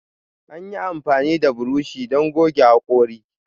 Anyi amfani da buroshi don gogge hakori.